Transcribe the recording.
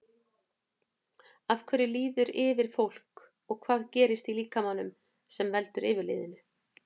Af hverju líður yfir fólk og hvað gerist í líkamanum sem veldur yfirliðinu?